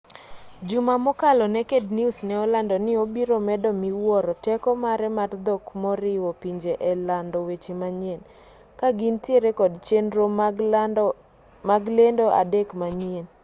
juma mokalo naked news ne olando ni obiro medo miwuoro teko mare mar dhok moriwo pinje e lando weche manyien ka gintiere kod chenro mag lendo adek manyien